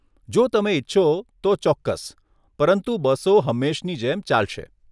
જો તમે ઇચ્છો, તો ચોક્કસ, પરંતુ બસો હંમેશની જેમ ચાલશે.